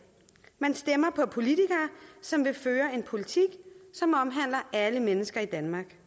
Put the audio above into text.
man stemmer på politikere som vil føre en politik som omhandler alle mennesker i danmark